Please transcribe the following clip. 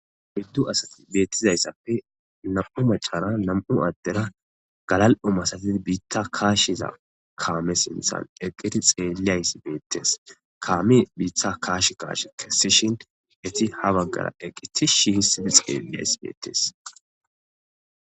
Oyidu asati betizay na'mu mac'ara na'mu adera galalo malatizza kashshizza kame sinththan eqqidi xeliyayththa betes kame biththa kash kash kesishen etti ha bagara eqqi tish histid gigisidi xeliyay bettes.